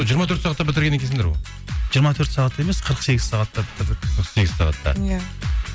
жиырма төрт сағатта бітірген екенсіңдер ғой жиырма төрт сағатта емес қырық сегіз сағатта бітірдік қырық сегіз сағатта иә